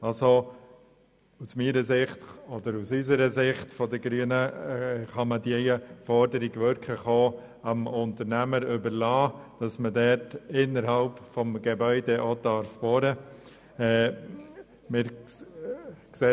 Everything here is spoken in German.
Aus Sicht der Grünen kann es wirklich dem Unternehmer überlassen werden, innerhalb des Gebäudes zu bohren.